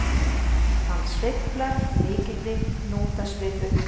Hann sveiflar mikilli hnútasvipu.